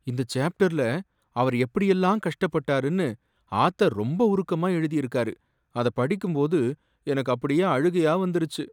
இந்த சேப்டர்ல அவர் எப்படி எல்லாம் கஷ்டப்பட்டாருன்னு ஆத்தர் ரொம்ப உருக்கமா எழுதியிருக்காரு, அதைப் படிக்கும் போது எனக்கு அப்படியே அழுகையா வந்துருச்சு.